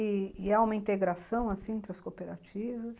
E há uma integração, assim, entre as cooperativas?